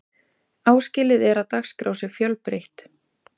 áskilið er að dagskrá sé fjölbreytt